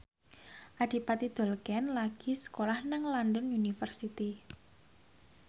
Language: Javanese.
Adipati Dolken lagi sekolah nang London University